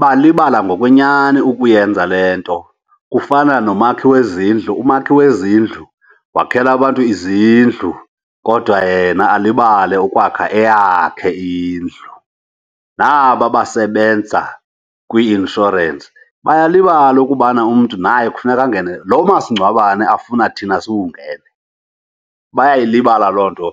Balibala ngokwenyani ukuyenza le nto. Kufana nomakhi wezindlu, umakhi wezindlu wakhela abantu izindlu kodwa yena alibale ukwakha eyakhe indlu. Naba basebenza kwii-inshorensi bayalibala ukubana umntu naye kufuneka angene lo masingcwabane afuna thina siwungene. Bayayilibala loo nto